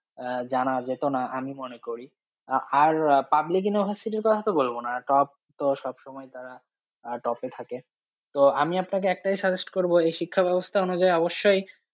আহ জানা যেত না আমি মনে করি, আহ আর public necessary র কথা তো বলবো না, top তো সবসময় তারা আহ top এ থাকে তো আমি আপনাকে একটাই suggest করবো, এই শিক্ষা ব্যবস্থা অনুযায়ী অবশ্যই